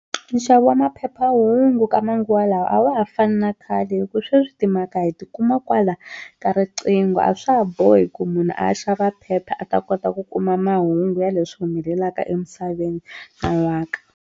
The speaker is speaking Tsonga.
Nxavo wa maphephahungu ka manguva lawa a wa ha fani na khale hikuva sweswi timhaka hi ti kuma kwala ka riqingho a swa ha bohi ku munhu a ya xava phepha a ta kota ku kuma mahungu ya leswi humelelaka emisaveni nan'waka.